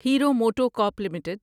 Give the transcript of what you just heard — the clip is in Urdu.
hero MotoCorp limited